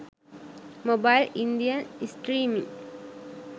mobile indian streaming